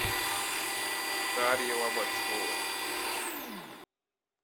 дарье лобачевой